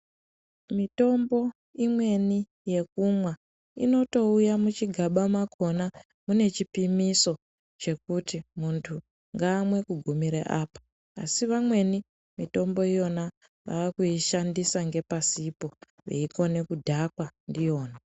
Mitombo imweni yekumwa inoto uya muchi gaba makona mune chipimiso chekuti muntu ngaamwe ku gumira apa asi vamweni mitombo iyona vakui shandisa nge pasipo veikone kudhakwa ndiyona.